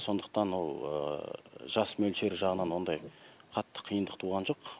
сондықтан ол жас мөлшері жағынан ондай қатты қиындық туған жоқ